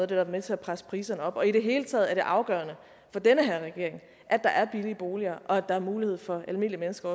der er med til at presse priserne op i det hele taget er det afgørende for den her regering at der er billige boliger og at der også er mulighed for almindelige mennesker